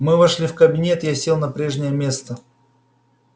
мы вошли в кабинет я сел на прежнее место